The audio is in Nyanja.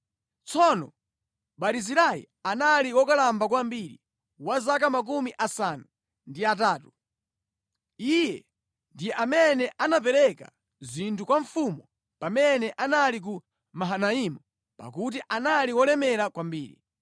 Tsono Barizilai anali wokalamba kwambiri, wa zaka makumi asanu ndi atatu. Iye ndi amene anapereka zinthu kwa mfumu pamene anali ku Mahanaimu pakuti anali wolemera kwambiri.